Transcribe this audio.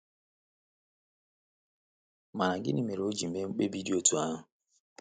Mana gịnị mere o ji mee mkpebi dị otú ahụ?